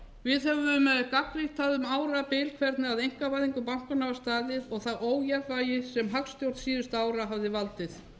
við höfðum gagnrýnt það um árabil hvernig að einkavæðingu bankanna var staðið og það ójafnvægi sem hagstjórn síðustu ára hafði valdið